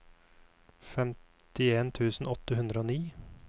femtien tusen åtte hundre og ni